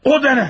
O de nəl?